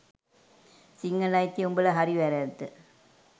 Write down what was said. සිංහල අයිතිය – උඹල හරි වැරැද්ද